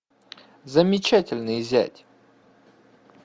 замечательный зять